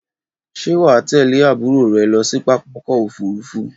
Ṣé wà á tẹ̀lé àbúrò rẹ lọ sí pápákọ̀ òfúrufú?